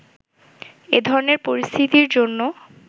এ ধরনের পরিস্থিতির জন্য